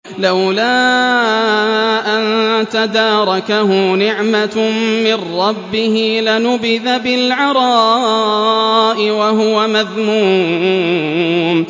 لَّوْلَا أَن تَدَارَكَهُ نِعْمَةٌ مِّن رَّبِّهِ لَنُبِذَ بِالْعَرَاءِ وَهُوَ مَذْمُومٌ